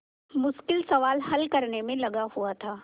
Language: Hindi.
मुश्किल सवाल हल करने में लगा हुआ था